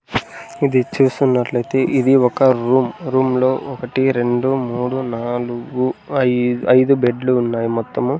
ఇది చూస్తున్నట్లయితే ఇది ఒక రూమ్ రూమ్ లో ఒకటి రెండు మూడు నాలుగు ఐద్ ఐదు బెడ్లు ఉన్నాయి మొత్తము.